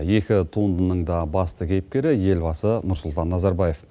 екі туындының да басты кейіпкері елбасы нұрсұлтан назарбаев